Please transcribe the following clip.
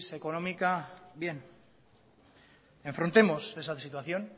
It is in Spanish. económica bien enfrentemos esa situación